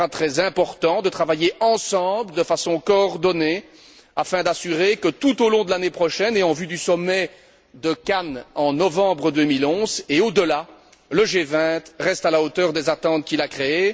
Il sera très important de travailler ensemble de façon coordonnée afin d'assurer que tout au long de l'année prochaine, et en vue du sommet de Cannes en novembre 2011 et au delà, le G20 reste à la hauteur des attentes qu'il a créées.